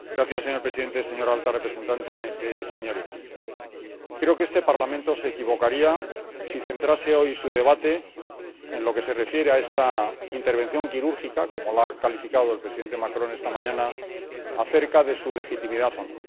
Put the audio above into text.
Señor presidente, señora alta representante, señorías, creo que este Parlamento se equivocaría si centrase hoy su debate en lo que se refiere a esta intervención quirúrgica, como la ha calificado el presidente Macron esta mañana, acerca de su legitimidad o no.